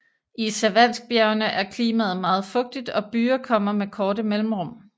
I Savanskbjergene er klimaet meget fugtigt og byger kommer med korte mellemrum